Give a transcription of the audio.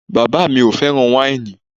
Bàbá mi ò fẹ́ràn wáìnì